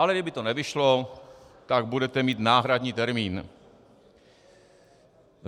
Ale kdyby to nevyšlo, tak budete mít náhradní termín.